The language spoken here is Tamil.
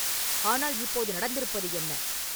ஆனால் இப்போது நடந்திருப்பது என்ன?